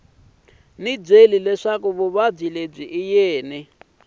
byele leswaku vuvabyi lebyi byi